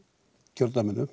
kjördæminu